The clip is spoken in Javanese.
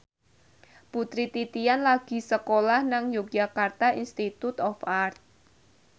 Putri Titian lagi sekolah nang Yogyakarta Institute of Art